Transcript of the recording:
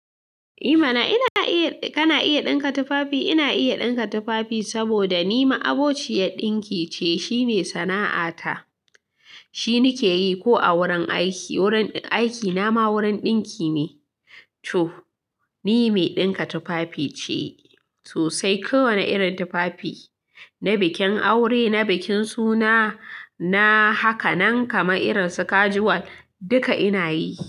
Eh mana, kana iya ɗinka tufafi? Ina iya ɗinka tufafi saboda ni ma abociyar ɗinki ce. Shi ne sana'ata. Shi nake yi ko a wurin aiki. Wurin aiki na ma wurin ɗinki ne. To, ni mai ɗinka tufafice sosai. Kowane irin tufafi, na bikin aure, na bikin suna na haka, nan kamar irin su casual duka ina yi.